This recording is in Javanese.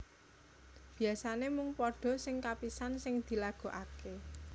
Biasané mung pada sing kapisan sing dilagokaké